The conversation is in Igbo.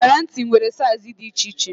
Iyeri ntị nwere saiz dị iche iche